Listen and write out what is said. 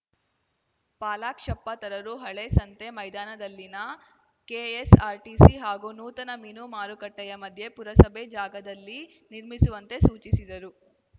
ಪಾಲಾಕ್ಷಪ್ಪ ತರರು ಹಳೆ ಸಂತೆ ಮೈದಾನದಲ್ಲಿನ ಕೆಎಸ್‌ಆರ್‌ಟಿಸಿ ಹಾಗೂ ನೂತನ ಮೀನು ಮಾರುಕಟ್ಟೆಯಮಧ್ಯೆ ಪುರಸಭೆಯ ಜಾಗದಲ್ಲಿ ನಿರ್ಮಿಸುವಂತೆ ಸೂಚಿಸಿದರು